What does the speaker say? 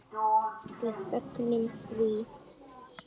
Við fögnum því.